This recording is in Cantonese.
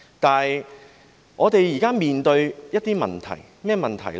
但是，我們現正面對一些問題，是甚麼問題呢？